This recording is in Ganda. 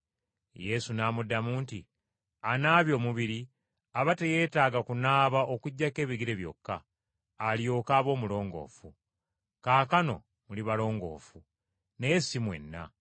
Yesu n’amuddamu nti, “Anaabye omubiri, aba teyeetaaga kunaaba okuggyako ebigere byokka, alyoke abe omulongoofu. Kaakano muli balongoofu, naye si mwenna.”